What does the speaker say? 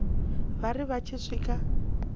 vha ri vha tshi swika